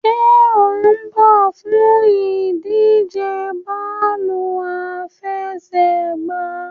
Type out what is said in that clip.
Ṣe o n bọ fun idije bọọlu afẹsẹgba?